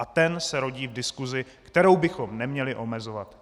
A ten se rodí v diskusi, kterou bychom neměli omezovat.